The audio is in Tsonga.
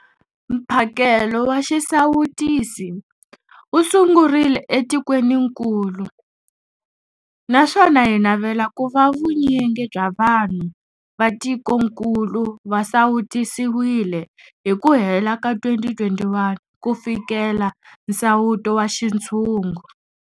Mphakelo wa xisawutisi wu sungurile etikwenikulu naswona hi navela ku va vunyingi bya vanhu va tikokulu va sawutisiwile hi ku hela ka 2021 ku fikelela nsawuto wa xintshungu.